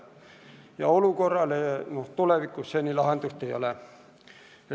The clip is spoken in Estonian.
Ja olukorrale seni lahendust ei ole.